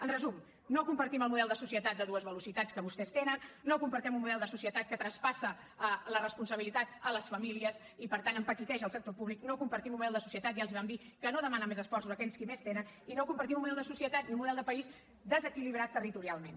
en resum no compartim el model de societat de dues velocitats que vostès tenen no compartim un model de societat que traspassa la responsabilitat a les famílies i per tant empetiteix el sector públic no compartim un model de societat ja els ho vam dir que no demana més esforços a aquells qui més tenen i no compartim un model de societat ni un model de país desequilibrat territorialment